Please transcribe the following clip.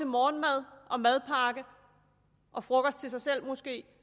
morgenmad madpakke og frokost til sig selv måske